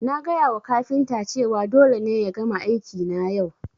Na gaya wa kafinta cewa dole ne ya gama aiki na yau